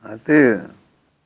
а ты